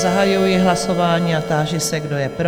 Zahajuji hlasování a táži se, kdo je pro?